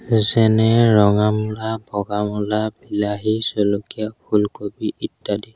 যেনে ৰঙা মূলা বগা মূলা বিলাহী জলকীয়া ফুলকবি ইত্যাদি।